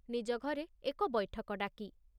ନିଜ ଘରେ ଏକ ବୈଠକ ଡାକି।